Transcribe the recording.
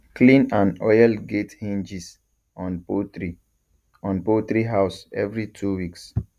clean and oil gate hinges on poultry on poultry house every two weeks